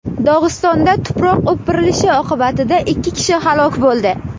Dog‘istonda tuproq o‘pirilishi oqibatida ikki kishi halok bo‘ldi.